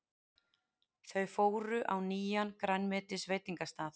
Þau fóru á nýjan grænmetisveitingastað.